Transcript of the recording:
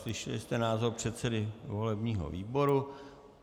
Slyšeli jste názor předsedy volebního výboru.